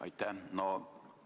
Aitäh!